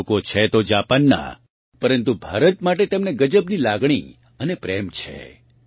તે લોકો છે તો જાપાનનાં પરન્તુ ભારત માટે તેમને ગજબની લાગણી અને પ્રેમ છે